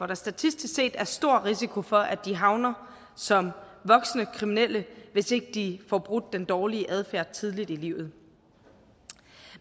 der statistisk set er stor risiko for at de havner som voksne kriminelle hvis ikke de får brudt den dårlige adfærd tidligt i livet